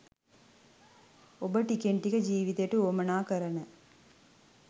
ඔබ ටිකෙන් ටික ජීවිතයට වුවමනා කරන